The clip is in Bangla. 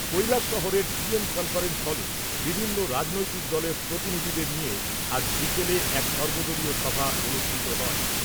কৈলাসশহরের ডিএম কনফারেন্স হলে বিভিন্ন রাজনৈতিক দলের প্রতনিধিদের নিয়ে আজ বিকেলে এক সর্বদলীয় সভা অনুষ্ঠিত হয়।